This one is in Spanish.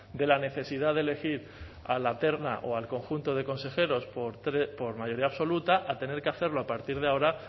de la necesidad de elegir a la terna o al conjunto de consejeros por mayoría absoluta a tener que hacerlo a partir de ahora